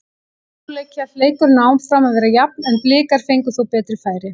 Í síðari hálfleik hélt leikurinn áfram að vera jafn en Blikar fengu þó betri færi.